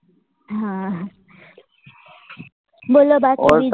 હા હા બોલો બાકી બીજું